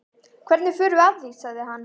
Hvernig förum við að því? sagði hann.